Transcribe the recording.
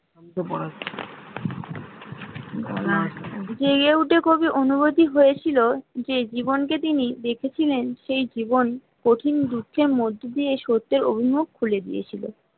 J এ উঠে কবি অনুভূতি হয়েছিল যে জীবনকে তিনি দেখেছিলেন সেই জীবন কঠিন দুখের মত দিতে সত্য খুলে দিয়েছিল